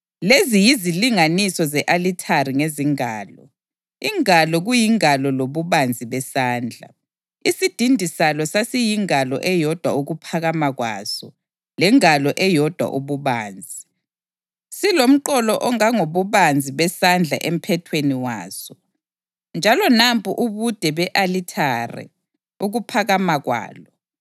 “Lezi yizilinganiso ze-alithare ngezingalo, ingalo kuyingalo lobubanzi besandla: Isidindi salo sasiyingalo eyodwa ukuphakama kwaso lengalo eyodwa ububanzi, silomqolo ongangobubanzi besandla emphethweni waso. Njalo nampu ubude be-alithare ukuphakama kwalo: